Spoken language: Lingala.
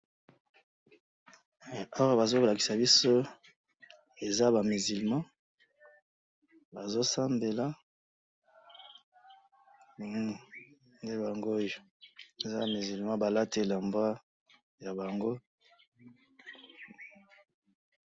Awa bazolakisa biso, eza ba misulmants, bazosambela, Hum! Nde bangooyo, eza ba misulmant, balati elamba yabango.